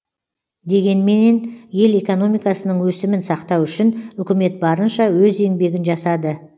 дегенменен ел экономикасының өсімін сақтау үшін үкімет барынша өз еңбегін жасады